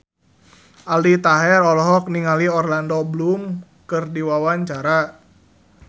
Aldi Taher olohok ningali Orlando Bloom keur diwawancara